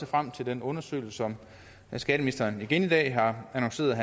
frem til den undersøgelse som skatteministeren igen i dag har annonceret er